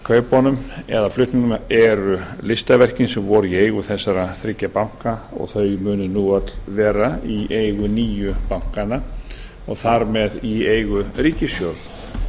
kaupunum eða flutningnum eru listaverkin sem voru í eigu þessara þriggja banka og þau munu nú öll vera í eigu nýju bankanna og þar með í eigu ríkissjóðs